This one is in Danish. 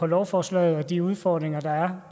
lovforslag og de udfordringer der